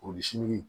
Kurusi